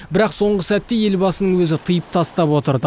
бірақ соңғы сәтте елбасының өзі тыйып тастап отырды